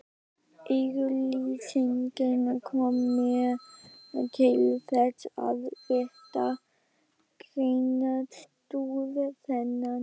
Auglýsingin kom mér til þess, að rita greinarstúf þennan.